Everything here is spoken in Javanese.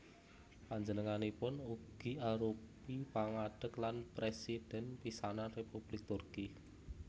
Panjenenganipun ugi arupi pangadeg lan Présidhèn pisanan Républik Turki